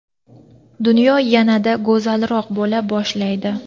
dunyo yanada go‘zalroq bo‘la boshlaydi.